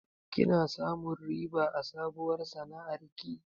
Kina samun riba a sabuwar sana'ar ki?